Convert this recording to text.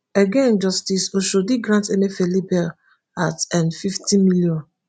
again justice oshodi grant emefiele bail at nfifty million.